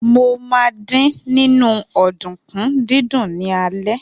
Mo ma dín nínú ọ̀dùnkún dídún ní alẹ́.